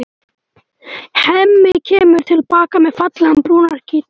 Hemmi kemur til baka með fallegan, brúnan gítar.